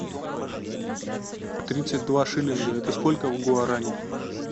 тридцать два шиллинга это сколько в гуарани